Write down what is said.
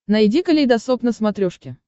найди калейдосоп на смотрешке